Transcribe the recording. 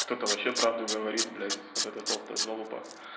кто-то вообще правду говорит блять вот это толстая залупа